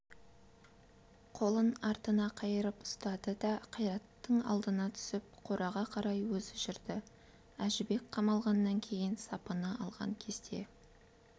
қолын артына қайырып ұстады да қайраттың алдына түсіп қораға қарай өзі жүрді әжібек қамалғаннан кейін сапыны алған кезде